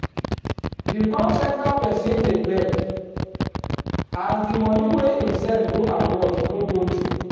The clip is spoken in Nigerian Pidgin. di call centre person dey beg as di money wey him send go abroad no go through